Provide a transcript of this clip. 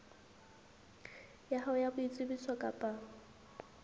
ya hao ya boitsebiso kapa